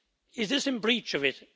Is this in breach of it?